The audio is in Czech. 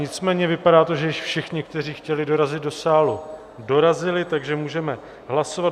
Nicméně vypadá to, že již všichni, kteří chtěli dorazit do sálu, dorazili, takže můžeme hlasovat.